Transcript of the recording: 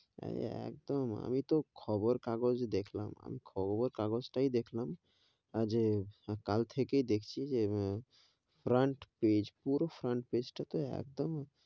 হেঁ, একদম আমি তো খবর কাগজ দেখলাম, আমি খবর কাগজ তাই দেখলাম আজে, কাল থেকেই দেখছি যে front page পুরো front page টা তো একদম,